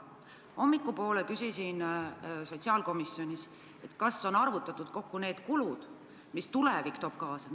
Hommikul ma küsisin sotsiaalkomisjonis, kas on arvutatud kokku need kulud, mis tulevik ühiskonnale kaasa toob.